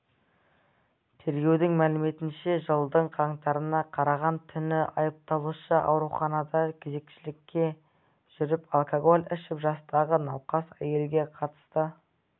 тергеудің мәліметінше жылдың қаңтарына қараған түні айыпталушы ауруханада кезекшілікте жүріп алкоголь ішіп жастағы науқас әйелге қатысты